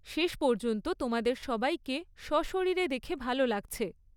শেষ পর্যন্ত তোমাদের সবাইকে সশরীরে দেখে ভালো লাগছে।